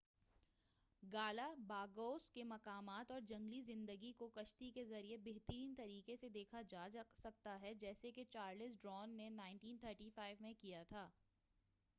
Galapagos کی مقامات اور جنگلی زندگی کو کشتی کے ذریعے بہترین طریقے سے دیکھا جاتا ہے جیسا کہ چارلس ڈارون نے 1835 میں کیا تھا